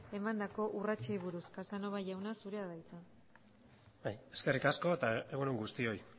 emandako urratsei buruz casanova jauna zurea da hitza eskerrik asko eta egun on guztioi